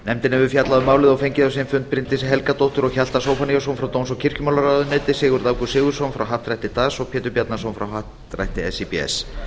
nefndin hefur fjallað um málið og fengið á sinn fund bryndísi helgadóttur og hjalta zóphóníasson frá dóms og kirkjumálaráðuneyti sigurð ágúst sigurðsson frá happdrætti das og pétur bjarnason frá happdrætti síbs